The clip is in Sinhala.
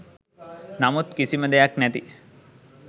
නමුත් කිසිම දෙයක් නැති